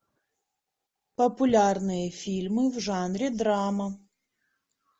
популярные фильмы в жанре драма